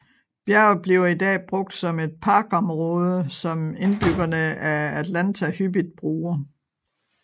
Bjerget bliver i dag brugt som et parkområde som indbyggerne af Atlanta hyppigt bruger